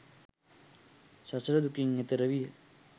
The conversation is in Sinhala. සසර දුකින් එතෙර විය